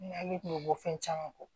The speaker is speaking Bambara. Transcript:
N hakili kun bɛ bɔ fɛn caman kɔ